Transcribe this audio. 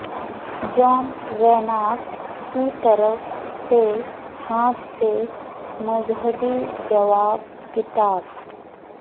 جان Reynard کی طرف سے ہاتھ سے مذہبی جواب کتاب